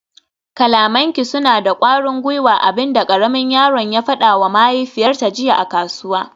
kalamanki suna da kwarin gwiwa, abin da karamin yaron ya fadawa mahaifiyarta jiya a kasuwa